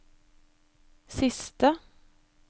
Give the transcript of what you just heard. siste